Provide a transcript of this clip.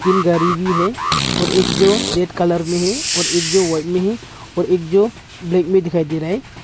तीन गाड़ी भी है और एक जो रेड कलर में है और एक जो व्हाइट में है और एक जो ब्लैक में दिखाई दे रहा है।